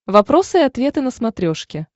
вопросы и ответы на смотрешке